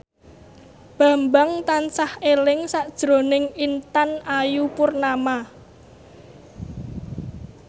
Bambang tansah eling sakjroning Intan Ayu Purnama